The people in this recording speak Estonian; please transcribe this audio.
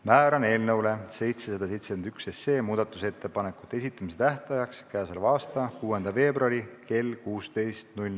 Määran eelnõu 771 muudatusettepanekute esitamise tähtajaks k.a 6. veebruari kell 16.